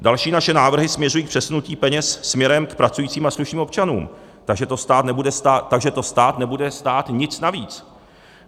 Další naše návrhy směřují k přesunutí peněz směrem k pracujícím a slušným občanům, takže to stát nebude stát nic navíc.